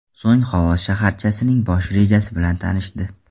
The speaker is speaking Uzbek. So‘ng Xovos shaharchasining bosh rejasi bilan tanishdi .